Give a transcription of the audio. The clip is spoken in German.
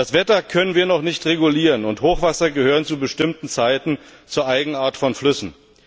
Das Wetter können wir noch nicht regulieren, und Hochwasser gehören zu bestimmten Zeiten zur Eigenart von Flüssen.